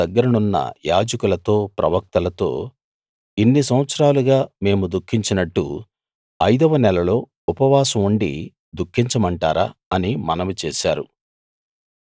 మందిరం దగ్గరనున్న యాజకులతో ప్రవక్తలతో ఇన్ని సంవత్సరాలుగా మేము దుఃఖించినట్టు ఐదవ నెలలో ఉపవాసం ఉండి దుఃఖించమంటారా అని మనవి చేశారు